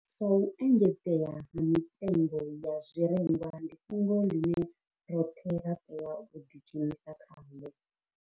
Zwa u engedzea ha mitengo ya zwirengwa ndi fhungo ḽine roṱhe ra tea u ḓidzhenisa khaḽo.